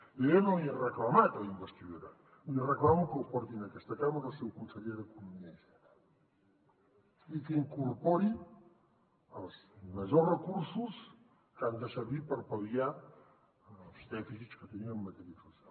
i jo ja no l’hi he reclamat a la investidura li reclamo que el porti a aquesta cambra el seu conseller d’economia i hisenda i que incorpori els majors recursos que han de servir per pal·liar els dèficits que tenim en matèria social